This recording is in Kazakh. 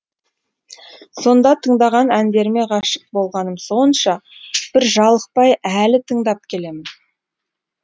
сонда тыңдаған әндеріме ғашық болғаным сонша бір жалықпай әлі тыңдап келемін